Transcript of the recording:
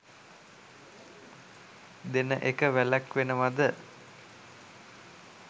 දෙන එක වැළැක්වෙනවද?